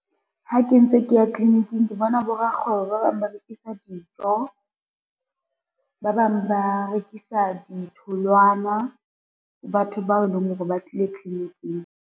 Ha ke ntse ke ya tliliniking, ke bona borakgwebo ba bang ba rekisa dijo, ba bang ba rekisa ditholwana, ho batho bao e leng hore ba tlile tliliniking.